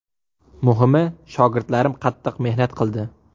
Muhimi, shogirdlarim qattiq mehnat qildi.